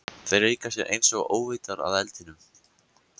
Þeir leika sér einsog óvitar að eldinum.